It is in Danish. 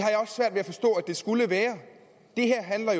det skulle være det her handler